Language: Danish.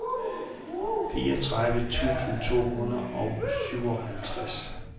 fireogtredive tusind otte hundrede og syvoghalvtreds